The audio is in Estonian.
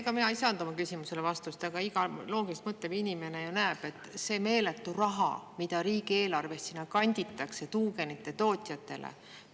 Ega mina ei saanud oma küsimusele vastust, aga iga loogiliselt mõtlev inimene ju näeb, et see on meeletu raha, mida riigieelarvest kanditakse tuugenite tootjatele.